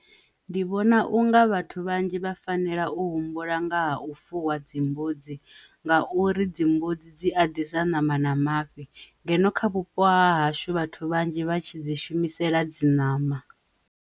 Ndi vhona unga vhathu vhanzhi vha fanela u humbula nga ha u fuwa dzimbudzi nga uri dzimbudzi dzi a ḓisa ṋama na mafhi ngeno kha vhupo ha hashu vhathu vhanzhi vha tshi dzi shumisela dzi ṋama.